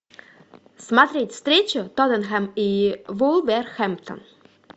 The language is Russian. смотреть встречу тоттенхэм и вулверхэмптон